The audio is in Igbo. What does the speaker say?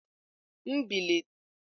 M belatara ọsọ wiper windshield.